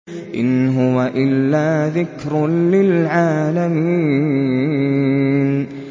إِنْ هُوَ إِلَّا ذِكْرٌ لِّلْعَالَمِينَ